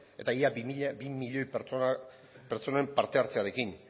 eta ia bi milioi pertsonen parte hartzearekin